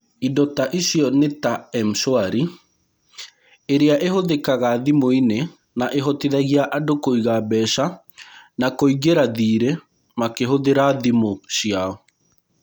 Indo ta icio nĩ ta M-Shwari, ĩrĩa ĩhũthĩkaga thimũ-inĩ na ĩhotithagia andũ kũiga mbeca na kũingĩra thirĩ makĩhũthĩra thimũ ciao.